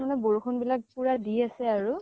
বৰষুণ বিলাক পুৰা দি আছে আৰু ।